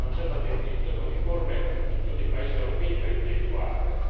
Non esiste una definizione uniforme in tutti i paesi europei per individuarle.